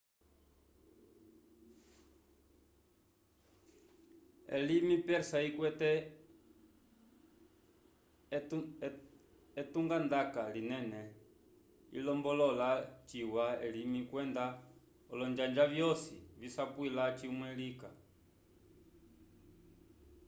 elimi persa ikwete etungandaka linene ilombolola ciwa elimi kwenda olonjanja vyosi visapwila cimwe lika